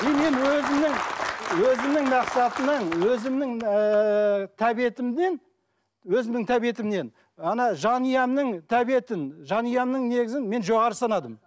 и мен өзімнің өзімнің мақсатымнан өзімнің ііі тәбетімнен өзімнің тәбетімнен ана жанұямның тәбетін жанұямның негізін мен жоғары санадым